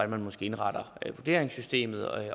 man indretter vurderingssystemet